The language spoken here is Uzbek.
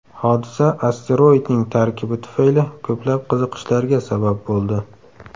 Hodisa asteroidning tarkibi tufayli ko‘plab qiziqishlarga sabab bo‘ldi.